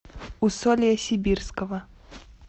усолья сибирского